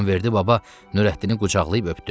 İmamverdi baba Nurəddini qucaqlayıb öpdü.